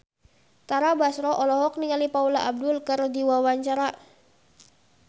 Tara Basro olohok ningali Paula Abdul keur diwawancara